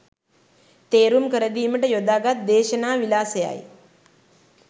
තේරුම් කරදීමට යොදාගත් දේශනා විලාසයයි.